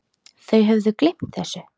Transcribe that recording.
Þau höfðu gleymt þessu.